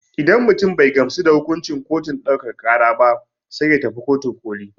Idan mutum bai gamsu da hukuncin kotun ɗaukaka ƙara ba sai ya tafi kotun ƙoli.